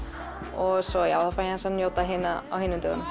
og svo fæ ég aðeins að njóta á hinum dögunum